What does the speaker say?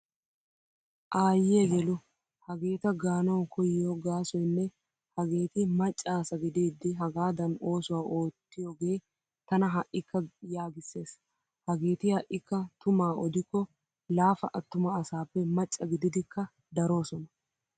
Aayyiya yelu hageeta gaanawu koyiyo gaasoynne hageeti macca asa gidiiddi hagaadan oosuwaa oottiyoge tana ha'ikka yaagissees. Hageeti ha'ikka tumaa odikko laafa attuma asaappe macca gididikka daroosona.